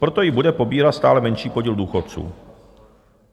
Proto ji bude pobírat stále menší podíl důchodců.